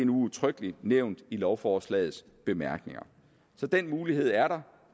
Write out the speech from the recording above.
udtrykkelig nævnt i lovforslagets bemærkninger så den mulighed er der